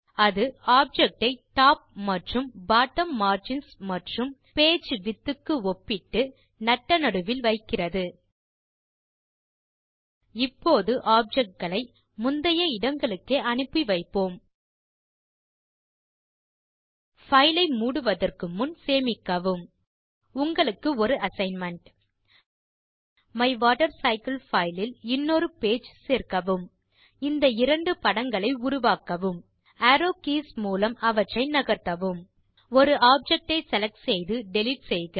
அது ஆப்ஜெக்ட் ஐ டாப் மற்றும் பாட்டம் மார்ஜின்ஸ் மற்றும் page விட்த் க்கு ஒப்பிட்டு நட்ட நடுவில் வைக்கிறது இப்போது ஆப்ஜெக்ட் களை முந்தைய இடங்களுக்கே அனுப்பி வைப்போம் பைல் ஐ மூடுவதற்கு முன் சேமிக்கவும் உங்களுக்கு ஒரு அசைன்மென்ட் மைவாட்டர்சைக்கிள் பைல் இல் இன்னொரு பேஜ் சேர்க்கவும் இந்த இரண்டு படங்களை உருவாக்கவும் அரோவ் கீஸ் மூலம் அவற்றை நகர்த்தவும் ஒரு ஆப்ஜெக்ட் ஐ செலக்ட் செய்து டிலீட் செய்க